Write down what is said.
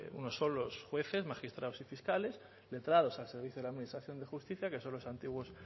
unos son los jueces magistrados y fiscales letrados al servicio de la administración de justicia que son los antiguos